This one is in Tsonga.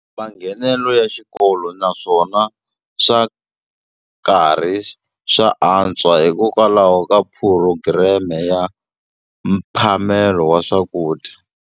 Manghenelo ya xikolo naswona swa karhi swa antswa hikokwalaho ka phurogireme ya mphamelo wa swakudya.